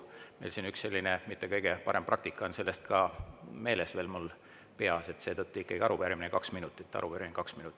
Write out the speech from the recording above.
Meil siin üks selline mitte kõige parem praktika on sellest ka meeles, veel mul peas, seetõttu ikka arupärimine – kaks minutit, arupärimine – kaks minutit.